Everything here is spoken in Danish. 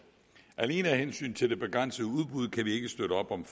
alene af hensyn til det begrænsede udbud kan vi ikke støtte op om